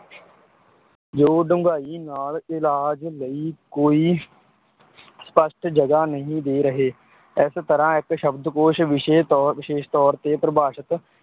ਜੋ ਡੂੰਘਾਈ ਨਾਲ ਇਲਾਜ ਲਈ ਕੋਈ ਸਪੱਸ਼ਟ ਜਗ੍ਹਾ ਨਹੀਂ ਦੇ ਰਹੇ, ਇਸ ਤਰ੍ਹਾਂ ਇੱਕ ਸ਼ਬਦਕੋਸ਼ ਵਿਸ਼ੇ ਤੌਰ, ਵਿਸ਼ੇਸ਼ ਤੌਰ ਤੇ ਪਰਿਭਾਸ਼ਤ